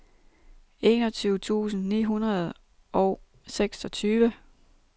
enogtyve tusind ni hundrede og seksogtyve